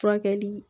Furakɛli